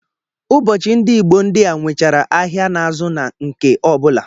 Ụbọchị ndị Igbo ndị a nwechara ahịa na-azụ na nke ọ bụla